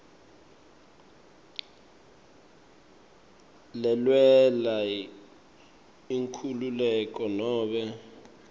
lelwela inkhululeko nobe